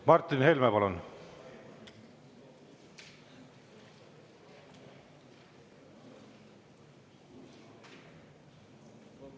Martin Helme, palun!